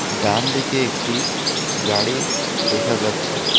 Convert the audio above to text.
ডানদিকে একটি গাড়ি দেখা যাচ্ছে।